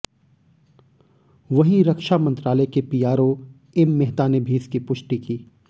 वहीं रक्षा मंत्रालय के पीआरओ एम मेहता ने भी इसकी पुष्टि की